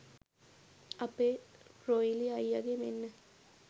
අපේ රොයිලි අයියගෙ මෙන්න